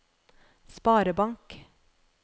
sparebank